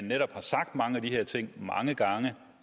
netop er sagt mange af de her ting mange gange